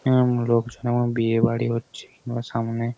এবং লোকজন এবং বিয়েবাড়ি হচ্ছে। এবং সামনে--